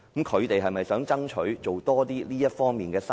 他們是否想爭取多做這方面的生意？